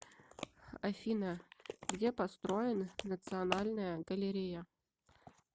афина где построен национальная галерея